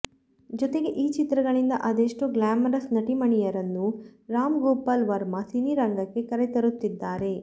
ಜೊತೆಗೆ ಈ ಚಿತ್ರಗಳಿಂದ ಅದೆಷ್ಟೋ ಗ್ಲಾಮರಸ್ ನಟಿ ಮಣಿಯರನ್ನು ರಾಮ್ ಗೋಪಲ್ ವರ್ಮ ಸಿನಿರಂಗಕ್ಕೆ ಕರೆತರುತ್ತಿದ್ದಾರೆ